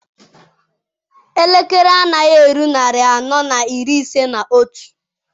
Elekere anaghị eru narị anọ na iri ise na otu.